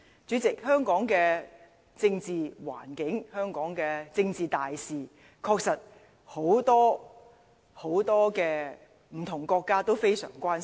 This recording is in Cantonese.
主席，對於香港的政治環境、香港的政治大事，很多不同的國家確實都非常關心。